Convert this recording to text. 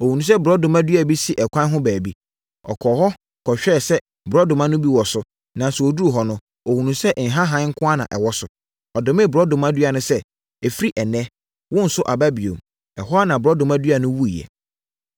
Ɔhunuu sɛ borɔdɔma dua bi si ɛkwan ho baabi. Ɔkɔɔ hɔ kɔhwɛɛ sɛ borɔdɔma no bi wɔ so, nanso ɔduruu hɔ no, ɔhunuu sɛ nhahan nko ara na ɛwɔ so. Ɔdomee borɔdɔma dua no sɛ, “Ɛfiri ɛnnɛ, worenso aba bio!” Ɛhɔ ara borɔdɔma dua no wuiɛ.